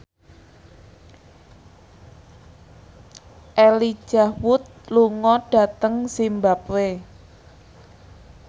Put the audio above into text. Elijah Wood lunga dhateng zimbabwe